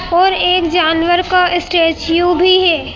पर एक जानवर का स्टैच्यू भी है।